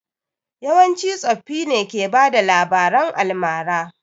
Yawanci tsoffi ne ke bada labaran almara